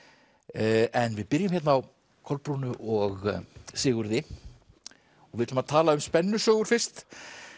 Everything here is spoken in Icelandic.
en við byrjum á Kolbrúnu og Sigurði við ætlum að tala um spennusögur fyrst